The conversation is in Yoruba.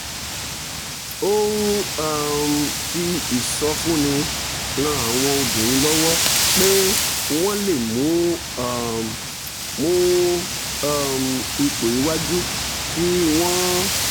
ó ń um fi ìsọfúnni ran àwọn obìnrin lọ́wọ́ pé wọ́n lè mú um mú um ipò iwájú kí wọ́n